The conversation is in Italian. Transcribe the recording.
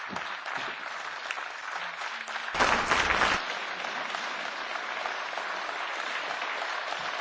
Grazie soprattutto per aver ribadito, nel corso del suo intervento,